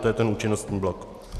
To je ten účinnostní blok.